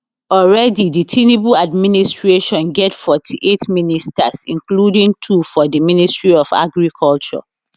already di tinubu administration get 48 ministers including two for di ministry of agriculture